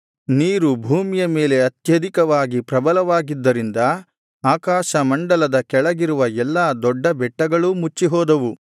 ನೀರು ಭೂಮಿಯ ಮೇಲೆ ಅತ್ಯಧಿಕವಾಗಿ ಪ್ರಬಲವಾಗಿದ್ದರಿಂದ ಆಕಾಶಮಂಡಲದ ಕೆಳಗಿರುವ ಎಲ್ಲಾ ದೊಡ್ಡ ಬೆಟ್ಟಗಳೂ ಮುಚ್ಚಿಹೋದವು